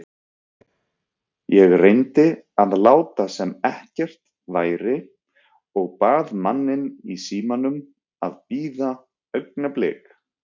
Ég reyndi að láta sem ekkert væri og bað manninn í símanum að bíða augnablik.